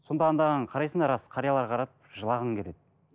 сонда андағыны қарайсың да рас қарияларға қарап жылағың келеді